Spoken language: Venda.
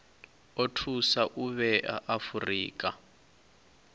o thusa u vhea afurika